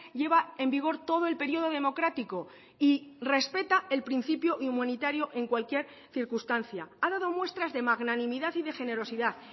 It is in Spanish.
lleva en vigor todo el periodo democrático y respeta el principio inmunitario en cualquier circunstancia ha dado muestras de magnanimidad y de generosidad